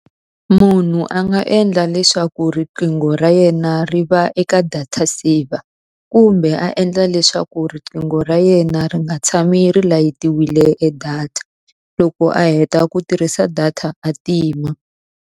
Munhu a nga endla leswaku riqingho ra yena ri va eka data saver, kumbe a endla leswaku riqingho ra yena ri nga tshami ri layitiwile e data. Loko a heta ku tirhisa data a tima.